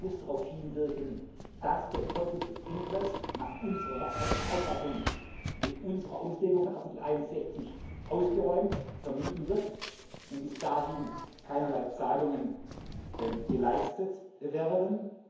2. August darauf hinwirken, dass der conflict of interest nach unserer Rechtsauffassung mit unserer Auslegung von Artikel 61 ausgeräumt, vermieden wird und bis dahin keinerlei Zahlungen geleistet werden.